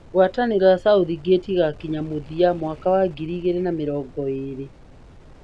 Ngwatanĩro ya Southgate ĩgakinya mũthia mwaka wa ngiri igĩrĩ na mĩrongo ĩĩrĩ.